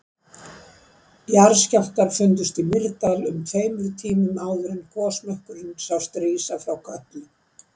Jarðskjálftar fundust í Mýrdal um tveimur tímum áður en gosmökkurinn sást rísa frá Kötlu.